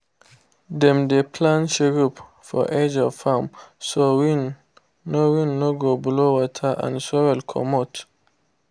dem dey plant shrub for edge of farm so wind no wind no go blow water and soil comot